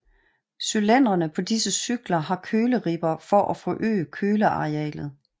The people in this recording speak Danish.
Cylindrene på disse cykler har køleribber for at forøge kølearealet